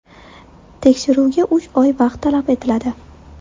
Tekshiruvga uch oy vaqt talab etiladi.